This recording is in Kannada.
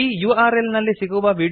ಈ URLನಲ್ಲಿ ಸಿಗುವ ವಿಡಿಯೋ ಅನ್ನು ನೋಡಿ